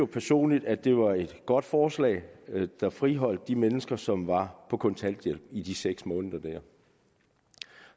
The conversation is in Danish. personligt at det var et godt forslag der friholdt de mennesker som var på kontanthjælp i de seks måneder